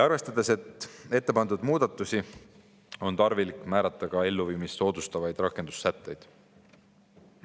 Arvestades ette pandud muudatusi on tarvilik kehtestada ka elluviimist soodustavad rakendussätted.